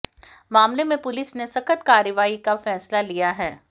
मामले में पुलिस ने सख्त कार्रवाई का फैसला लिया है